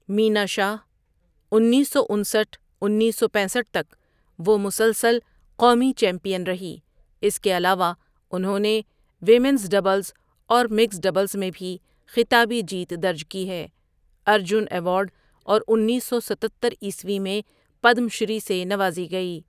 مینا شاہ انیس سو انسٹھ انیس سو پینسٹھ تک وہ مسلسل قومی چمپئن رہی اس کے علاوہ انہوں نے ویمنز ڈبلز اور مکسڈ ڈبلز میں بھی خطابی جیت درج کی ہے ارجن ایوارڈ اور انیس سو ستتر عیسوی میں پدم شری سے نوازی گئی.